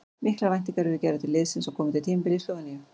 Miklar væntingar eru gerðar til liðsins á komandi tímabili í Slóveníu.